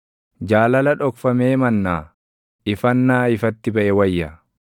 Jaalala dhokfamee mannaa ifannaa ifatti baʼe wayya.